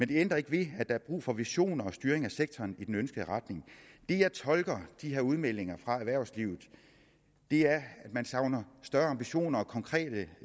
det ændrer ikke ved at der er brug for visioner og styring af sektoren i den ønskede retning det jeg tolker ud de her udmeldinger fra erhvervslivet er at man savner større ambitioner og konkrete